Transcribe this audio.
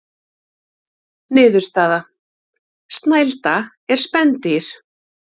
Niðurstaða: Snælda er spendýr.